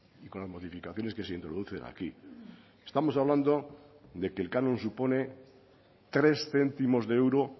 y con las modificaciones que se introducen aquí estamos hablando de que el canon supone tres céntimos de euro